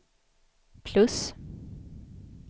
plus